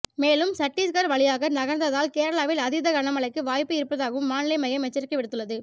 மேலும் சட்டீஸ்கர் வழியாக நகர்ந்தால் கேரளாவில் அதீத கன மழைக்கு வாய்ப்பு இருப்பதாகவும் வானிலை மையம் எச்சரிக்கை விடுத்துள்ளது